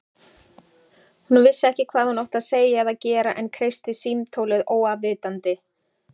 Hún vissi ekki hvað hún átti að segja eða gera en kreisti símtólið óafvitandi.